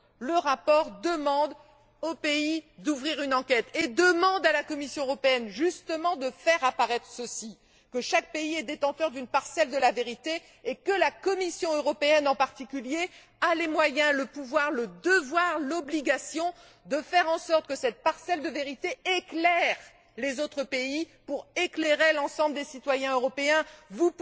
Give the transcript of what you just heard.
Le rapport demande au pays d'ouvrir une enquête et demande à la Commission européenne, justement, de faire apparaître ceci que chaque pays est détenteur d'une parcelle de la vérité, et que la Commission européenne, en particulier, a les moyens, le pouvoir, le devoir, l'obligation de faire en sorte que cette parcelle de vérité éclaire les autres pays pour que l'ensemble des citoyens européens puissent être informés.